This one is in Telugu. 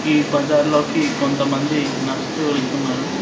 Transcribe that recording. ఈ బజార్లోకి కొంతమంది నడుస్తూ వెళ్తున్నారు.